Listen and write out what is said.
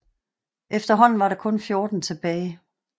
Efterhånden var der kun 14 tilbage